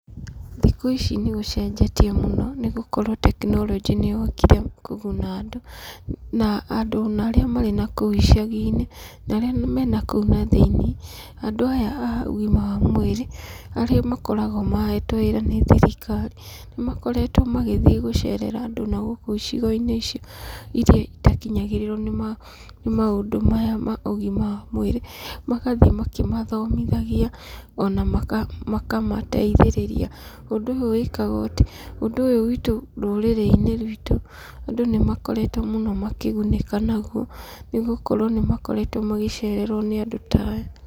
Thikũ ici nĩ gũcenjetie mũno nĩ gũkorwo tekinoronjĩ nĩyokire kũguna andũ. Na andũ ona arĩa marĩ na kũu icaginĩ na arĩa mena kũu thĩinĩ, andũ aya a ugima wa mwĩrĩ arĩa makoragwo mahetwo wĩra nĩ thirikari nĩ makoretwo magĩthiĩ gũcerera andũ na gũkũ icigoinĩ ici iria itakinyagĩrĩrwo nĩ maũndũ maya ma ũgima wa mwĩrĩ. Magathiĩ makĩmathomithagia ona makamateithĩrĩria. Ũndũ ũyũ wĩkagwo rũrĩrĩ-inĩ ruitũ andũ nĩ makoretwo makĩgunĩka naguo nĩ gũkorwo nĩ makoretwo magĩcererwo nĩ andũ ta aya.